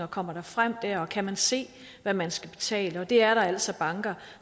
kommer frem der og kan se hvad man skal betale det er der altså banker